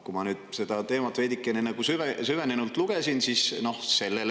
Ma sellesse teemasse veidi süvenenult lugesin selle kohta.